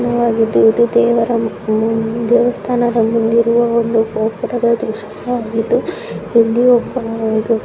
ಇದು ದೇವರ ಮು ದೇವಸ್ಥಾನದ ಮುಂದಿರುವ ಒಂದು ಗೋಪುರದ ದೃಶ್ಯ ವಾಗಿದ್ದು ಇಲ್ಲಿ ಒಬ್ಬ ಹುಡುಗ --